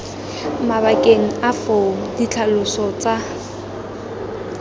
mabakeng a foo ditlhaloso tsa